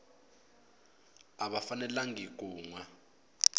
a va fanelangi ku nwa